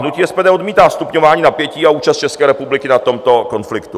Hnutí SPD odmítá stupňování napětí a účast České republiky na tomto konfliktu.